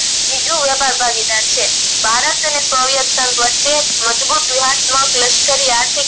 બીજું વ્યાપાર ભાગીદાર છે ભારત અને soviet સંઘ વચ્ચે મજબુત લશ્કર